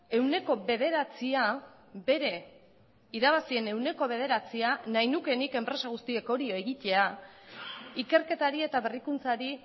ehuneko bederatzia bere irabazien ehuneko bederatzian nahi nuke nik enpresa guztiek hori egitea ikerketari eta berrikuntzari